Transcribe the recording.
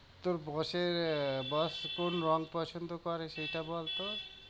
তোর boss এর আহ boss কোন রঙ পছন্দ করে সেইটা বল তো?